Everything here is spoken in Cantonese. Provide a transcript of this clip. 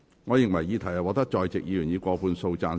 我認為議題獲得在席議員以過半數贊成。